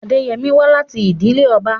Adeyemi wá láti ìdílé ọba.